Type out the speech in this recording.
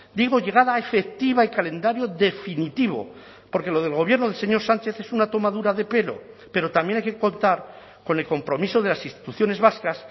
digo llegada efectiva y calendario definitivo porque lo del gobierno del señor sánchez es una tomadura de pelo pero también hay que contar con el compromiso de las instituciones vascas